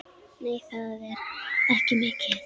Nei, það er ekki mikið.